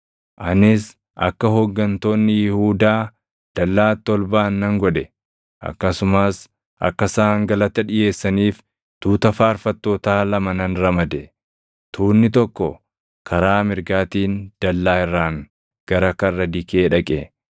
Anis akka hooggantoonni Yihuudaa dallaatti ol baʼan nan godhe. Akkasumas akka isaan galata dhiʼeessaniif tuuta faarfattootaa lama nan ramade. Tuunni tokko karaa mirgaatiin dallaa irraan gara Karra Dikee dhaqe.